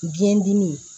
Biyɛn dimi